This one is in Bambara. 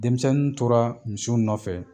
Denmisɛnnin tora misiw nɔfɛ.